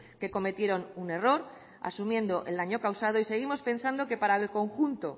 que cometieron un error asumiendo el daño causado y seguimos pensando que para el conjunto